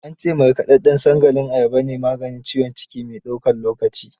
An ce markaɗaɗɗen sangalin ayaba ne maganin ciwon ciki mai daukan lokaci.